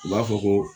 U b'a fɔ ko